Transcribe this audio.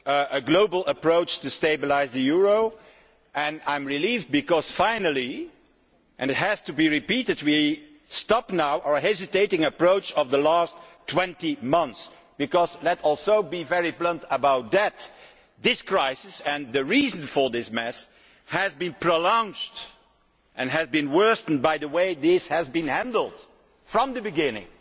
a global approach to stabilise the euro, and I am relieved because finally and it has to be repeated we are now abandoning our hesitant approach of the last 20 months. Let us also be very blunt about that this crisis, and the reason for this mess, has been prolonged and worsened by the way this has been handled from the beginning,